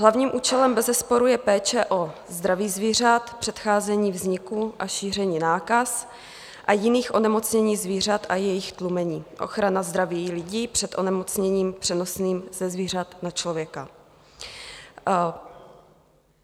Hlavním účelem bezesporu je péče o zdraví zvířat, předcházení vzniku a šíření nákaz a jiných onemocnění zvířat a jejich tlumení, ochrana zdraví lidí před onemocněním přenosným ze zvířat na člověka.